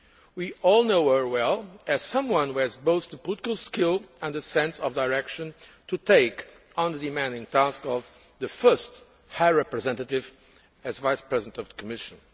We all know her well as someone who has both the political skill and the sense of direction to take on the demanding task of the first High Representative and Vice President of the Commission.